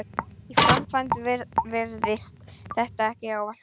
Í framkvæmd virðist þessa ekki ávallt gætt.